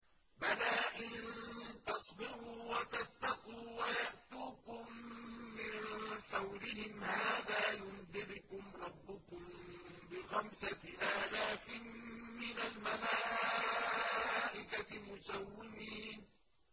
بَلَىٰ ۚ إِن تَصْبِرُوا وَتَتَّقُوا وَيَأْتُوكُم مِّن فَوْرِهِمْ هَٰذَا يُمْدِدْكُمْ رَبُّكُم بِخَمْسَةِ آلَافٍ مِّنَ الْمَلَائِكَةِ مُسَوِّمِينَ